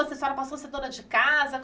Você só passou a ser dona de casa?